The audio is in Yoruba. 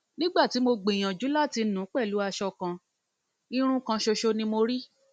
nígbà tí mo gbìyànjú láti nu pẹlú aṣọ kan irun kan ṣoṣo ni mo rí